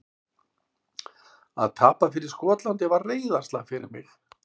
Að tapa fyrir Skotlandi var reiðarslag fyrir mig.